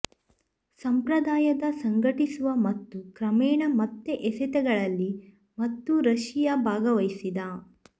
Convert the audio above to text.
ಸಂಪ್ರದಾಯದ ಸಂಘಟಿಸುವ ಮತ್ತು ಕ್ರಮೇಣ ಮತ್ತೆ ಎಸೆತಗಳಲ್ಲಿ ಮತ್ತು ರಶಿಯಾ ಭಾಗವಹಿಸಿದ